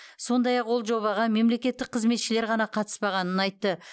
сондай ақ ол жобаға мемлекеттік қызметшілер ғана қатыспағанын айтты